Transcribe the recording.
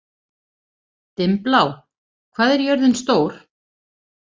Dimmblá, hvað er jörðin stór?